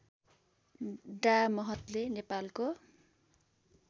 डा महतले नेपालको